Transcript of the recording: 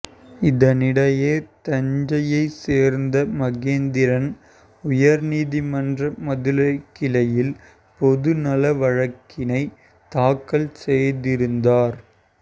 இதனிடையே தஞ்சையைச் சேர்ந்த மகேந்திரன் உயர்நீதிமன்ற மதுரைக்கிளையில் பொதுநல வழக்கினைத் தாக்கல் செய்திருந்தார்